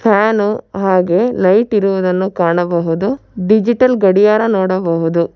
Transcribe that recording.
Fan ಹಾಗೆ light ಇರುವುದನ್ನು ಕಾಣಬಹುದು ಡಿಜಿಟಲ್ ಗಡಿಯಾರ ನೋಡಬಹುದು.